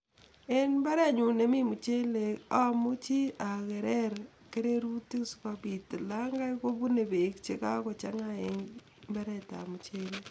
En mbarenyun nemi muchelek amuchi agerer kererutik si kopiit olonkai kopune peek chekakochang'a en mbaretap muchelek